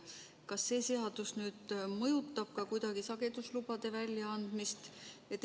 Kas see seadus mõjutab kuidagi ka sageduslubade väljaandmist?